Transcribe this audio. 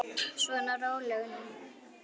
Svona, rólegur nú.